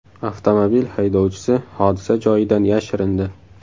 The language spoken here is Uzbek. Avtomobil haydovchisi hodisa joyidan yashirindi.